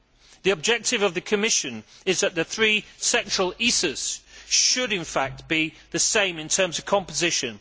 The objective of the Commission is that the three sectoral ISAs should, in fact, be the same in terms of composition.